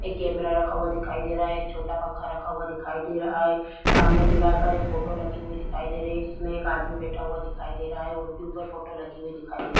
एक कैमरा रखा हुआ दिखाई दे रहा है एक छोटा पंखा रखा हुआ दिखाई दे रहा है सामने दीवार पर एक फोटो लगी हुई दिखाई दे रही है जिसमें एक आदमी बैठा हुआ दिखाई दे रहा है और भी ऊपर फोटो लगी हुई दिखाई दे --